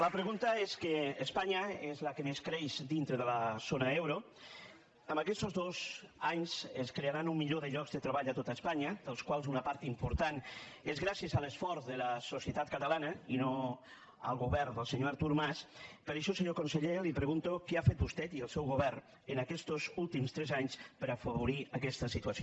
la pregunta és que espanya és la que més creix dintre de la zona euro en aquestos dos anys es crearan un milió de llocs de treball a tot espanya dels quals una part important és gràcies a l’esforç de la societat catalana i no al govern del senyor artur mas per això senyor conseller li pregunto què han fet vostè i el seu govern en aquestos últims tres anys per a afavorir aquesta situació